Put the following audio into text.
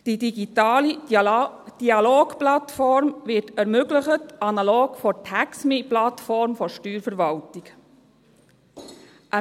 Die digitale Dialogplattform wird analog der TaxMe-Plattform der Steuerverwaltung ermöglicht.